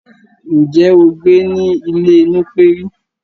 Ǹjé ó gbé ní ilè Nupé rí